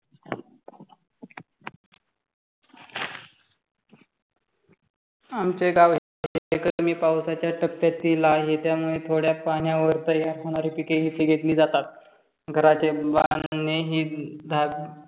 आमचे गाव कमी पावसाच्या टप्प्यातील आहे. त्यामुळे थोड्या पाण्यावर तयार होणारी पिके इथे घेतली जातात. घराचे बांधणे ही